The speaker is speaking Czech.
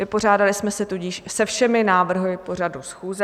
Vypořádali jsme se tudíž se všemi návrhy pořadu schůze.